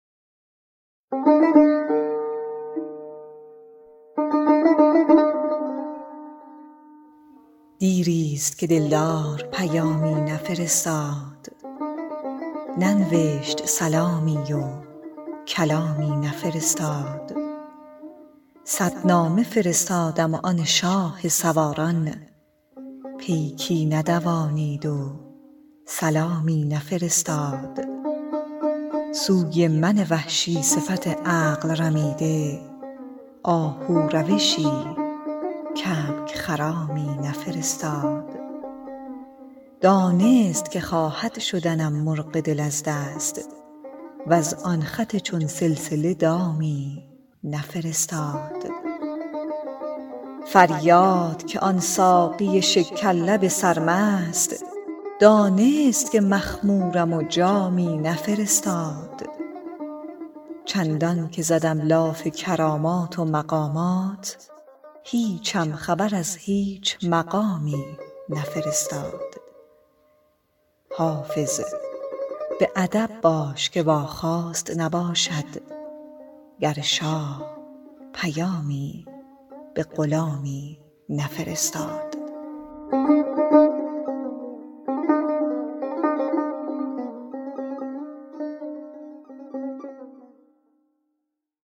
دیر است که دل دار پیامی نفرستاد ننوشت سلامی و کلامی نفرستاد صد نامه فرستادم و آن شاه سواران پیکی ندوانید و سلامی نفرستاد سوی من وحشی صفت عقل رمیده آهو روشی کبک خرامی نفرستاد دانست که خواهد شدنم مرغ دل از دست وز آن خط چون سلسله دامی نفرستاد فریاد که آن ساقی شکر لب سرمست دانست که مخمورم و جامی نفرستاد چندان که زدم لاف کرامات و مقامات هیچم خبر از هیچ مقامی نفرستاد حافظ به ادب باش که واخواست نباشد گر شاه پیامی به غلامی نفرستاد